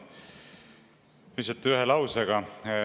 Ütlen lihtsalt lausega.